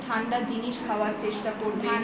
doctor বলেছে ঠান্ডা জিনিস খাওয়ার চেষ্টা করবে